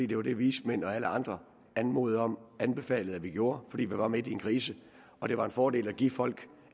det var det vismændene og alle andre anmodede om og anbefalede at vi gjorde fordi vi var midt i en krise og det var en fordel at give folk